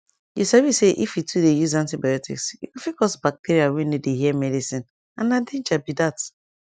you sabi say if you too dey use antibiotics e go fit cause bacteria wey no dey hear medicine and na danger be that